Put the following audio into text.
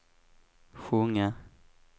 sjunga